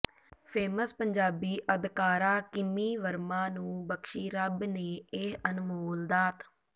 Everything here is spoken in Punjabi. ਫੇਮਸ ਪੰਜਾਬੀ ਅਦਕਾਰਾ ਕਿਮੀ ਵਰਮਾ ਨੂੰ ਬਖਸ਼ੀ ਰੱਬ ਨੇ ਇਹ ਅਨਮੋਲ ਦਾਤ